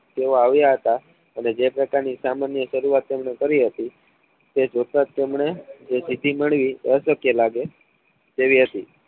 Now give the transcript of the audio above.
તેઓ આવ્યા હતા અને જે પ્રકાર ની સામાન્ય સરુઆત તેમને કરી હતી તે જ જોતા જ તેમને જે સિદ્ધિ મળી એ અશક્ય લાગે એવી હતી